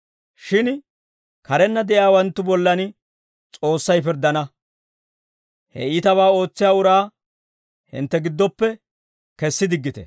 Shin karenna de'iyaawanttu bollan S'oossay pirddana. He iitabaa ootsiyaa uraa hintte giddoppe kessi diggite.